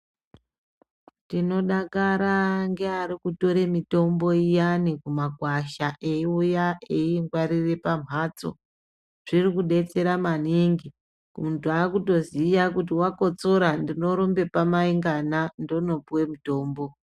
Tinodakara ngevari kutora mitombo iyani kumakwasha eiuya eingwarira pambatso zviri kudetsera maningi muntu akutoziva kuti akotsora ndinorumba pamai ngana ndoopuwe mutombo.